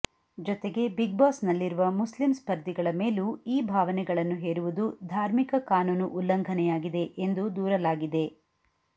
ಜತೆಗೆ Bigg Boss ನಲ್ಲಿರುವ ಮುಸ್ಲಿಂ ಸ್ಪರ್ಧಿಗಳ ಮೇಲೂ ಈ ಭಾವನೆಗಳನ್ನು ಹೇರುವುದು ಧಾರ್ಮಿಕ ಕಾನೂನು ಉಲ್ಲಂಘನೆಯಾಗಿದೆ ಎಂದು ದೂರಲಾಗಿದೆ